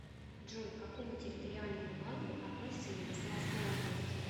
джой к какому территориальному банку относится ярославская область